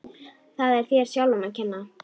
Það er þér sjálfum að kenna.